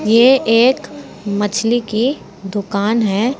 ये एक मछली की दुकान है।